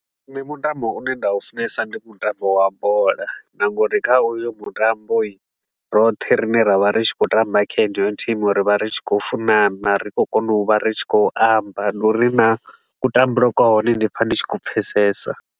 Nṋe mutambo une nda u funesa ndi mutambo wa bola na ngori kha u yo mutamboi, roṱhe rine ra vha ri tshi khou tamba kha haneyo thimu ri vha ri tshi khou funana, ri khou kona u vha ri tshi khou amba. Ndi uri na kutambele kwa hone ndi pfa ndi tshi ku pfesesa.